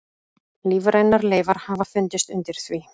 Lífrænar leifar hafa fundist undir því.